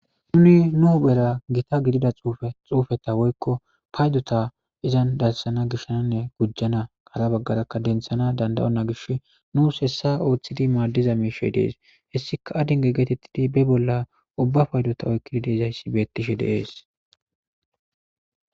Nuni nuu huphphera Gita gidida xufeta woyikko payidota izzanni darissana gishshananne gujana hara bagaraka deniththanawu danida'ontta gishshi nusi hessa oththidi maadiza mishshi de'ees.hessikka adinge getettidi bee bolla ubba payidota oyikkidi dizayiss bettishshe de'ees.